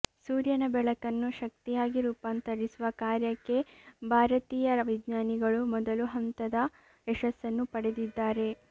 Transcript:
ಸೂರ್ಯನ ಬೆಳಕನ್ನು ಶಕ್ತಿಯಾಗಿ ರೂಪಾಂತರಿಸುವ ಕಾರ್ಯಕ್ಕೆ ಬಾರತೀಯ ವಿಜ್ಞಾನಿಗಳು ಮೊದಲು ಹಂತದ ಯಶಸ್ಸನ್ನು ಪಡೆದಿದ್ದಾರೆ